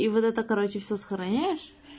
и вот это короче все сохраняешь